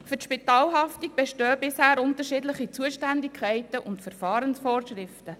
Für die Spitalhaftung bestehen bisher unterschiedliche Zuständigkeiten und Verfahrensvorschriften.